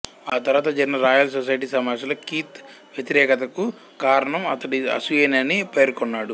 ఆ తరువాత జరిగిన రాయల్ సొసైటీ సమావేశంలో కీత్ వ్యతిరేకతకు కారణం అతడి అసూయేనని పేర్కొన్నాడు